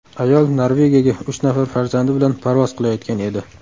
Ayol Norvegiyaga uch nafar farzandi bilan parvoz qilayotgan edi.